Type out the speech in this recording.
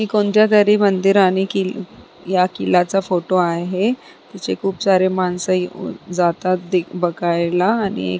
कोणत्या तरी मंदिर आणि कि या किल्ल्याचा फोटो आहे तिथे खुप सारे माणस जातात बघायला आणि--